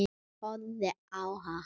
Horfi á hana.